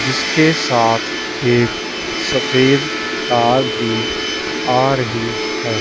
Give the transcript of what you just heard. जिसके साथ एक सफेद कार भी आ रही है।